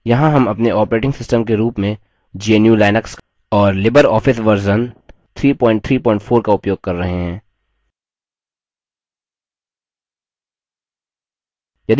यहाँ हम अपने operating system के रूप में gnu/लिनक्स और libreoffice version 334 का उपयोग कर रहे हैं